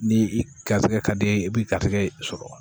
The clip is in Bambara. Ni i garisigɛ ka di i ye i b'i garisɛgɛ sɔrɔ